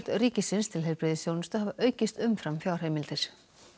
ríkisins til heilbrigðisþjónustu hafa aukist umfram fjárheimildir